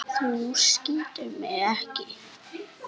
Þú skýtur mig ekki.